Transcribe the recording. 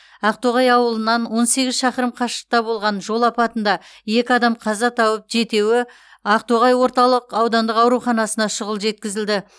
ақтоғай ауылынан он сегіз шақырым қашықтықта болған жол апатында екі адам қаза тауып жетеуі ақтоғай орталық аудандық ауруханасына шұғыл жеткізілді